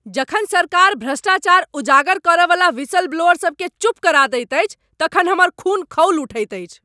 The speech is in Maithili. जखन सरकार भ्रष्टाचार उजागर करयवला व्हिसलब्लोअर सभकेँ चुप करा दैत अछि तखन हमर खून खौलि उठैत अछि।